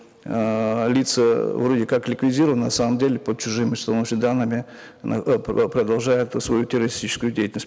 эээ лица вроде как ликвидированы на самом деле под чужими данными на продолжают свою террористическую деятельность